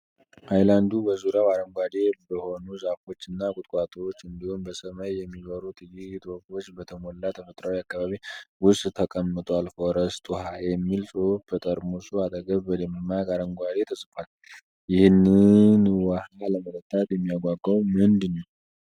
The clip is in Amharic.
ሃይላንዱ በዙሪያው አረንጓዴ በሆኑ ዛፎች እና ቁጥቋጦዎች እንዲሁም በሰማይ የሚበሩ ጥቂት ወፎች በተሞላ ተፈጥሮአዊ አካባቢ ውስጥ ተቀምጧል። “ፎረስት ውኃ” የሚል ጽሑፍ በጠርሙሱ አጠገብ በደማቅ አረንጓዴ ተጽፏል። ይህንን ውሃ ለመጠጣት የሚያጓጓው ምንድን ነው?